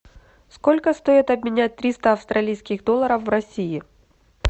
сколько стоит обменять триста австралийских долларов в россии